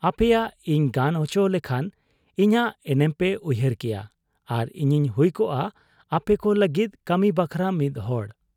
ᱟᱯᱮᱭᱟᱜ ᱤᱧ ᱜᱟᱱ ᱚᱪᱚ ᱞᱮᱠᱷᱟᱱ ᱤᱧᱟᱹᱜ ᱮᱱᱮᱢ ᱯᱮ ᱩᱭᱦᱟᱹᱨ ᱠᱮᱭᱟ ᱟᱨ ᱤᱧᱤᱧ ᱦᱩᱭ ᱠᱚᱜ ᱟ ᱟᱯᱮᱠᱚ ᱞᱟᱹᱜᱤᱫ ᱠᱟᱹᱢᱤ ᱵᱟᱠᱷᱨᱟ ᱢᱤᱫ ᱦᱚᱲ ᱾'